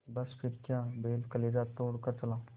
बस फिर क्या था बैल कलेजा तोड़ कर चला